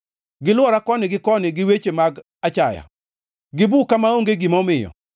Gilwora koni gi koni gi weche mag achaya; gibuka maonge gima omiyo.